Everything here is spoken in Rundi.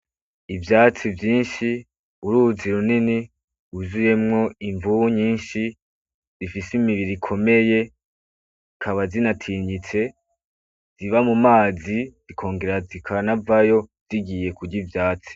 Ivyatsi vyinshi, uruzi runini rwuzuyemwo imvubu nyishi zifise imibiri ikomeye zikaba zinatinyitse ziba mumazi zikongera zikanavayo zigiye kurya ivytsi.